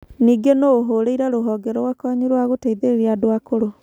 Ningĩ no ũhũũrĩre rũhonge rwa kwanyu rwa gũteithĩrĩria andũ akũrũ.